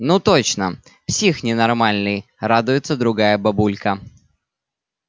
ну точно псих ненормальный радуется другая бабулька